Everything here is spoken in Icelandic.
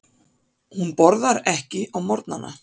Hún borðar ekki á morgnana.